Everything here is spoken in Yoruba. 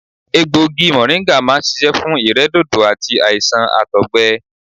Egbògi mọ̀ríńgà máa ń ṣiṣẹ́ fún ìrẹ́dòdò àti àìsàn àtọ̀gbẹ